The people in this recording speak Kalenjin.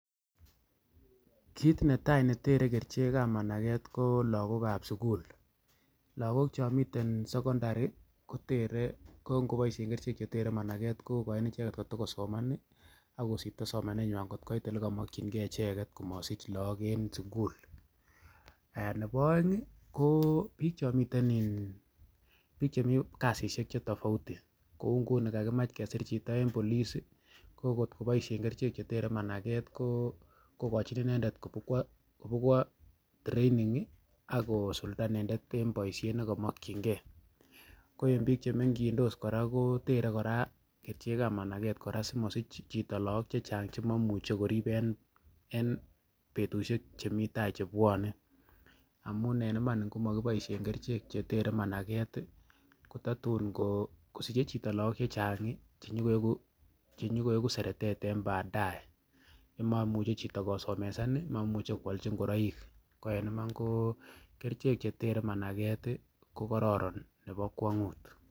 kiit netai netere kericheek ab manageet ko lagook ab sugul, lagook chomiten sekondari kotere ngo ngoboishen kerichek chetere manageet kogoiin icheget kotogosoman iih ak koosipto somanenywaan kot koit olegamokyingee icheget komosich look en sugul, nebo oeng iih koo biik chomiten iin biik chemii kasisiek chetabouti kouu ngunon kagimaach kesiir chito en policeiih ngo ngot koboishen kerichek chetere manageet kogonjin indendet kwoo training iih ak kosulda inendet en boisheet negomokyingee ko enn chemokyingee kotere koraa kerichek ab manageet koraa simosich chito lagook chechang chemomuche koriib en betushek chemii taai chebwone, amuun en iman ngomagiboishen kerichek chetere manageet iih ko tatuun kosiche chito lagook chechang chenyogoegu sereteet en badae ,moimuche chito kosemesaan iih momuche kwolchi ngoroik ko en imaan koo kerichek chetere manageet iih kogororon nebo kwonguut.